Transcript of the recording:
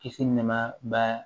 Kisi nɛma ba